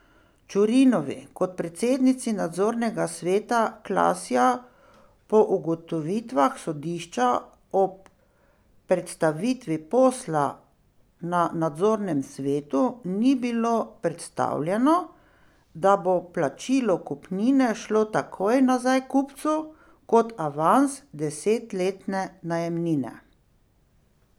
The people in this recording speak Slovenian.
Čurinovi kot predsednici nadzornega sveta Klasja po ugotovitvah sodišča ob predstavitvi posla na nadzornem svetu ni bilo predstavljeno, da bo plačilo kupnine šlo takoj nazaj kupcu kot avans desetletne najemnine.